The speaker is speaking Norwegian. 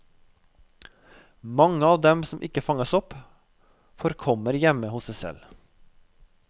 Mange av dem som ikke fanges opp, forkommer hjemme hos seg selv.